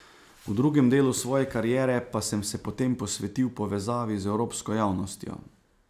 V drugem delu svoje kariere pa sem se potem posvetil povezavi z evropsko javnostjo.